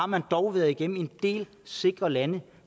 man har dog været igennem en del sikre lande